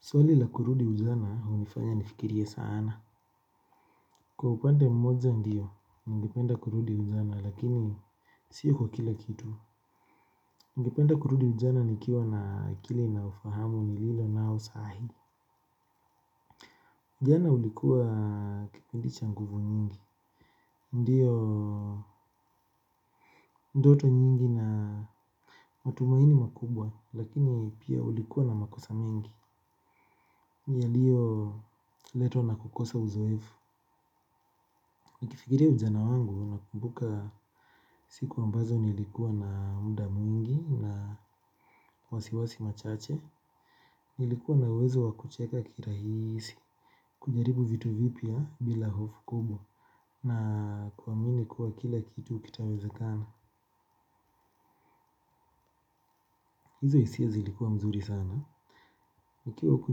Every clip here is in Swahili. Swali la kurudi ujana hunifanya nifikirie sana. Kwa upande mmoja ndiyo, ningependa kurudi ujana, lakini siyo kwa kila kitu. Ningependa kurudi ujana nikiwa na akili na ufahamu nililo nao saa hii. Ujana ulikuwa kipindi cha nguvu nyingi. Ndiyo ndoto nyingi na matumaini makubwa, lakini pia ulikuwa na makosa mengi. Yaliyoletwa na kukosa uzoefu. Nikifikiria ujana wangu nakumbuka siku ambazo nilikuwa na muda mwingi na wasiwasi machache, nilikuwa na uwezo wa kucheka kirahisi, kujaribu vitu vipya bila hofu kubwa na kuamini kuwa kila kitu kitawezakana. Hizo hisia zilikuwa mzuri sana. Nikiwa huku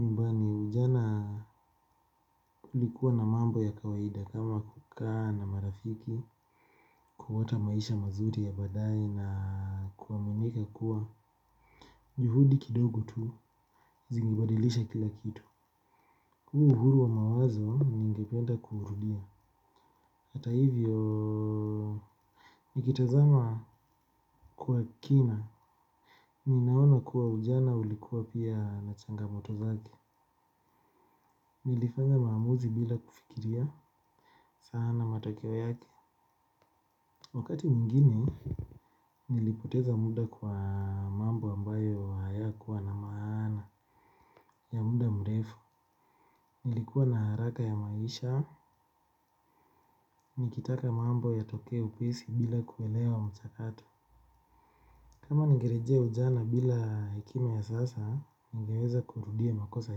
nyumbani ujana ulikuwa na mambo ya kawaida kama kukaa na marafiki, kuota maisha mazuri ya baadaye na kuaminika kuwa. Juhudi kidogo tu zingebadilisha kila kitu. Huu uhuru wa mawazo ningependa kuurudia. Hata hivyo, nikitazama kwa kina, ninaona kuwa ujana ulikuwa pia na changamoto zake. Nilifanya maamuzi bila kufikiria sana matokeo yake. Wakati mwingine nilipoteza muda kwa mambo ambayo hayakuwa na maana ya muda mrefu. Nilikuwa na haraka ya maisha. Nikitaka mambo yatokee upesi bila kuelewa mchakato. Kama ningerejea ujana bila hekima ya sasa ningeweza kurudia makosa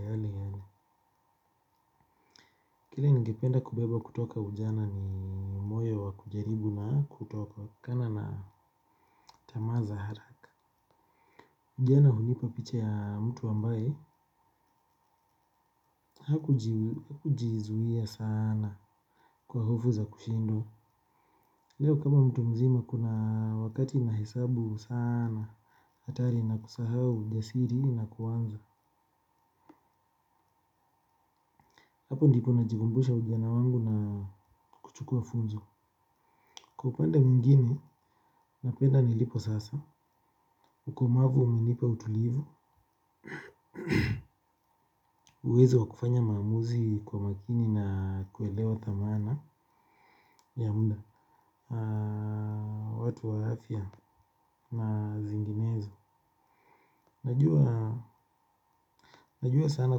yale yale kile ningependa kubeba kutoka ujana ni moyo wa kujaribu na kutokana na tamaa za haraka. Ujana hunipa picha ya mtu ambaye hakujizuia sana kwa hofu za kushindwa. Leo kama mtu mzima kuna wakati nahesabu sana hatari na kusahau ujasiri na kuanza. Hapo ndipo najikumbusha ujana wangu na kuchukua funzo. Kwa upande mwingine napenda nilipo sasa. Ukomavu umenipa utulivu uwezo wa kufanya maamuzi kwa makini na kuelewa thamani ya muda watu wa afya na zinginezo najua sana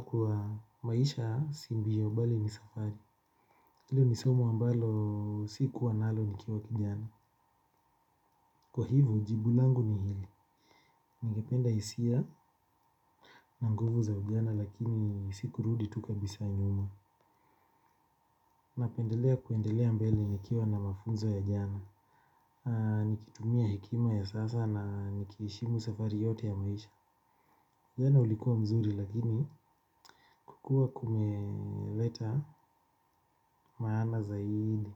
kuwa maisha si mbio bali ni safari hilo ni somo ambalo sikuwa nalo nikiwa kijana kwa hivyo jibu langu ni hili ningependa hisia na nguvu za ujana lakini si kurudi tu kabisa nyuma napendelea kuendelea mbele nikiwa na mafunzo ya jana nikitumia hekima ya sasa na nikiheshimu safari yote ya maisha. Ujana ulikuwa mzuri lakini kukua kumeleta maana zaidi.